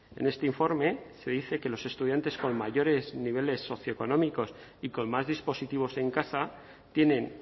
en este informe se dice que los estudiantes con mayores niveles socioeconómicos y con más dispositivos en casa tienen